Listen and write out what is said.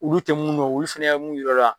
Olu tɛ mun dɔn ulu fɛnɛ ye mun yira o la.